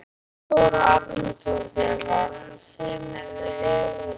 Þóra Arnórsdóttir: Var hún saumuð við höfuðleðrið?